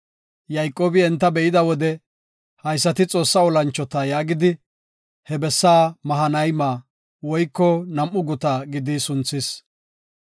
Yayqoobi enta be7ida wode “Haysati Xoossa olanchota” yaagidi, he bessa Mahanayma (Nam7u guta) gidi sunthis.